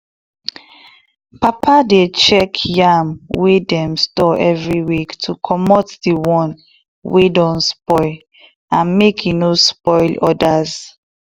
too much animal for small place dey cause plenty wahala food no go reach some um of dem and dem go dey fight well well.